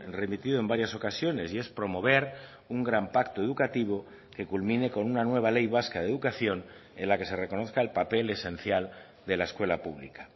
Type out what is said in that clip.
remitido en varias ocasiones y es promover un gran pacto educativo que culmine con una nueva ley vasca de educación en la que se reconozca el papel esencial de la escuela pública